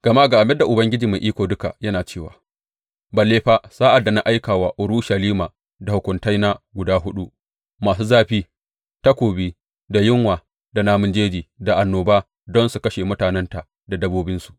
Gama ga abin da Ubangiji Mai Iko Duka yana cewa balle fa sa’ad da na aika wa Urushalima da hukuntaina guda huɗu masu zafi takobi da yunwa da namun jeji da annoba don su kashe mutanenta da dabbobinsu!